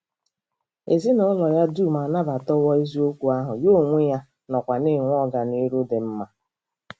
Ezinụlọ ya dum anabatawo eziokwu ahụ, ya onwe ya nọkwa na-enwe ọganihu dị mma.